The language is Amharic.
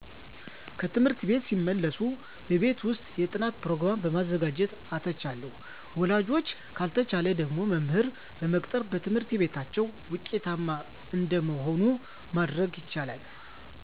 ከትምህርት ቤት ሲመለሱ በቤት ውስጥ የጥናት ፕሮገራም በመዘጋጀት አተቻለ ወላጆች ካልተቻለ ደግሞ መምህር በመቅጠር በትምህርታቸው ውጤታማ እንደመሆኑ ማድረግ ይቻላል